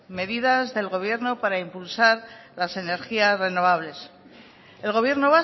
medidas del gobierno para impulsar las energías renovables el gobierno